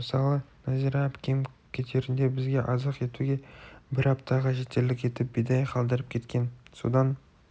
мысалы нәзира әпкем кетерінде бізге азық етуге бір аптаға жетерлік етіп бидай қалдырып кеткен содан